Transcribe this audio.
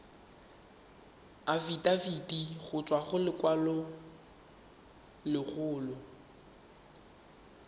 afitafiti go tswa go lelokolegolo